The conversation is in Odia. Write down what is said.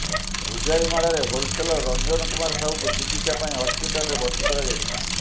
ଭୁଜାଲି ମାଡରେ ହୋଲସେଲର ରଞ୍ଜନ କୁମାର ସାହୁଙ୍କୁ ଚିକିତ୍ସା ପାଇଁ ହସ୍ପିଟାଲରେ ଭର୍ତ୍ତି କରାଯାଇଛି